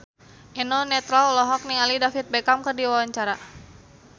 Eno Netral olohok ningali David Beckham keur diwawancara